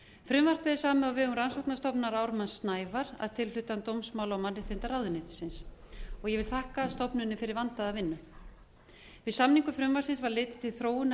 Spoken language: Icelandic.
frumvarpið er samið á vegum rannsóknastofnunar ármanns snævarr að tilhlutan dómsmála og mannréttindaráðuneytisins og ég vil þakka stofnuninni fyrir vandaða vinnu við samningu frumvarpsins var litið til þróunar